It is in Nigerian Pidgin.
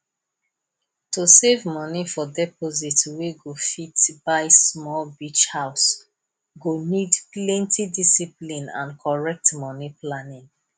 to save money for deposit wey go fit buy small beach house go need plenty discipline and correct money planning